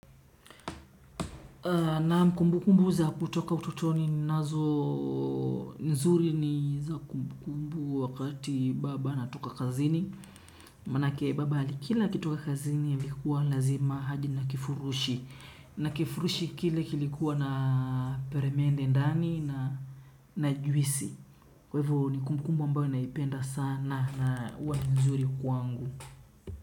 Naam kumbukumbu za kutoka utotoni ninazo nzuri ni za kumbukumbu wakati baba anapotoka kazini. Maanake baba alikila akitoka kazini alikuwa lazima aje na kifurushi. Na kifurushi kile kilikuwa na peremende ndani na juisi. Kwa hivyo ni kumbukumbu ambayo naipenda sana na huwa ni nzuri kwangu.